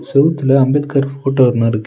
செவுத்துல அம்பேத்கர் ஃபோட்டோ ஒன்னு இருக்கு.